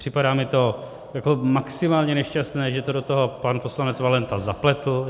Připadá mi to jako maximálně nešťastné, že to do toho pan poslanec Valenta zapletl.